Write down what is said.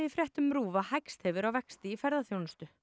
fréttum RÚV að hægst hefur á vexti í ferðaþjónustu